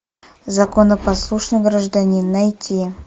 законопослушный гражданин найти